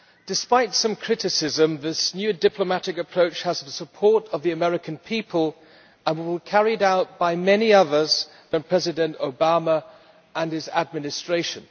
Despite some criticism, this new diplomatic approach has the support of the American people and will be carried out by many people other than President Obama and his administration.